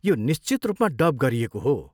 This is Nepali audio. यो निश्चित रूपमा डब गरिएको हो।